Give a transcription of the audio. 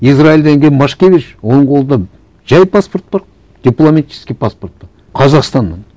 израильдан келген машкевич оның қолында жай паспорт бар дипломатический паспорт бар қазақстанның